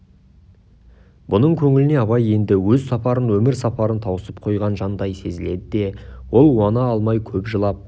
бұның көңіліне абай енді өз сапарын өмір сапарын тауысып қойған жандай сезіледі де ол уана алмай көп жылап